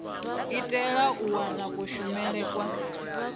itela u wana kushumele kwa